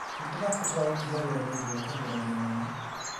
"Nĩ ndabataraga gũtiga wĩra nĩ ũndũ wa kũgũrario mũno.